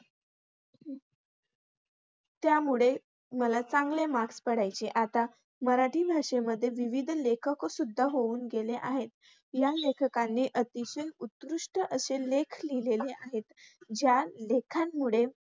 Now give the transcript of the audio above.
त्यामुळे मळक चांगले marks पडायचे. आता मराठी भाषेमध्ये विविध लेखकंसुद्धा होऊन गेले आहेत. या लेखकाने अतिशय उत्कृष्ट असे लेख लिहिलेले आहेत. ज्या लेखांमुळे